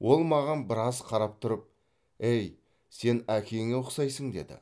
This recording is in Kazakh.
ол маған біраз қарап тұрып әй сен әкеңе ұқсайсың деді